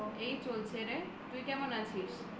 এই চলছে রে তুই কেমন আছিস